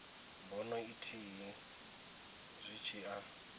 bono ithihi zwi tshi a